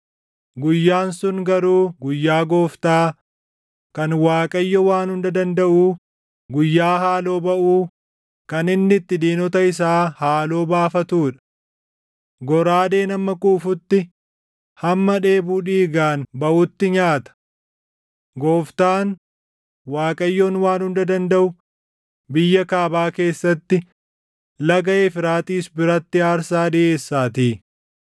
Guyyaan sun garuu guyyaa Gooftaa, // kan Waaqayyo Waan Hunda Dandaʼuu, guyyaa haaloo baʼuu, kan inni itti diinota isaa haaloo baafatuu dha. Goraadeen hamma quufutti, hamma dheebuu dhiigaan baʼutti nyaata. Gooftaan, Waaqayyoon Waan Hunda Dandaʼu biyya kaabaa keessatti, Laga Efraaxiis biratti aarsaa dhiʼeessaatii.